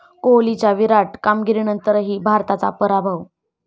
कोहलीच्या 'विराट' कामगिरीनंतरही भारताचा पराभव